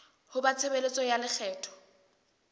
ho ba tshebeletso ya lekgetho